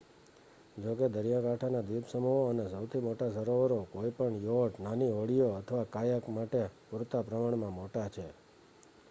જોકે દરિયાકાંઠાના દ્વીપસમૂહો અને સૌથી મોટા સરોવરો કોઈ પણ યોટ નાની હોડીઓ અથવા કાયાક માટે પૂરતા પ્રમાણમાં મોટા છે